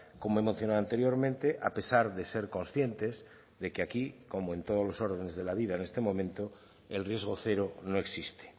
como he mencionado anteriormente a pesar de ser conscientes de que aquí como en todos los órdenes de la vida en este momento el riesgo cero no existe